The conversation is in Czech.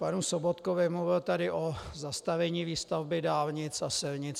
Panu Sobotkovi - mluvil tady o zastavení výstavby dálnic a silnic.